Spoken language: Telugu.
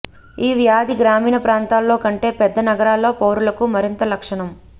ఈ వ్యాధి గ్రామీణ ప్రాంతాల్లో కంటే పెద్ద నగరాల్లో పౌరులకు మరింత లక్షణం